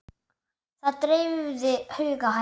Það dreifði huga hennar.